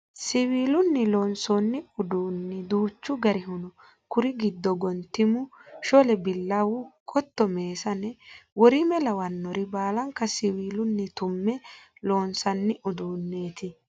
Siwiilunni loonsanni uduuni duuchu garihu no kuri giddo gontimu shole billawu qotto meessane worime lawinore baallanka siwiilunni tume loonsani uduuneti.